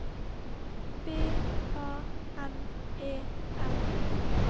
B A N E R